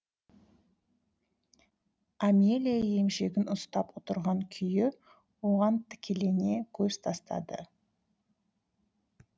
амелия емшегін ұстап отырған күйі оған тікілене көз тастады